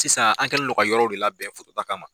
Sisan an kɛlen dɔn ka yɔrɔw de labɛn foto ta kama.